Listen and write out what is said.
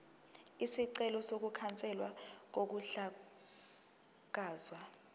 isicelo sokukhanselwa kokuhlakazwa